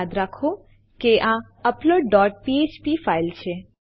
યાદ રાખો કે આ અપલોડ ડોટ ફ્ફ્પ ફાઈલ છે